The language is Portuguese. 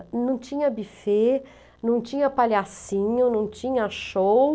Não tinha buffet, não tinha palhacinho, não tinha show.